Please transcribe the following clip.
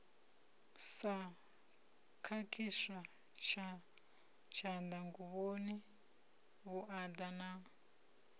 sa khakhiswa tshanḓanguvhoni vhuaḓa na